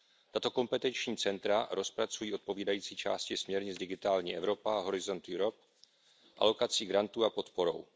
Tato kompetenční centra rozpracují odpovídající části směrnic Digitální Evropa a Horizont Europa alokací grantů a podporou.